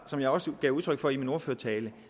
som jeg også gav udtryk for i min ordførertale